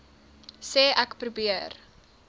sê ek probeer